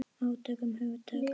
Átök um hugtök.